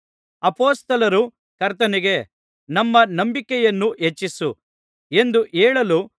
ಅಪೊಸ್ತಲರು ಕರ್ತನಿಗೆ ನಮ್ಮ ನಂಬಿಕೆಯನ್ನು ಹೆಚ್ಚಿಸು ಎಂದು ಹೇಳಲು